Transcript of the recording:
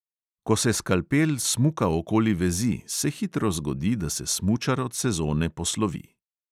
Ko se skalpel smuka okoli vezi, se hitro zgodi, da se smučar od sezone poslovi.